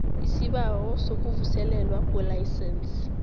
isibawo sokuvuselelwa kwelayisense